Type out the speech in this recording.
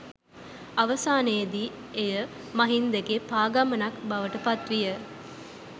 අවසානයේදී එය ”මහින්දගේ පා ගමනක්” බවට පත් විය.